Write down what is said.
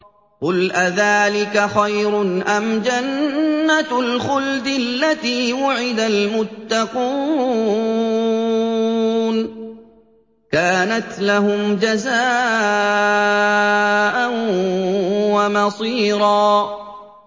قُلْ أَذَٰلِكَ خَيْرٌ أَمْ جَنَّةُ الْخُلْدِ الَّتِي وُعِدَ الْمُتَّقُونَ ۚ كَانَتْ لَهُمْ جَزَاءً وَمَصِيرًا